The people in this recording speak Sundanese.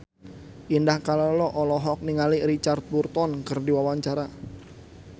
Indah Kalalo olohok ningali Richard Burton keur diwawancara